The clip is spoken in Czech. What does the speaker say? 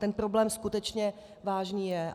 Ten problém skutečně vážný je.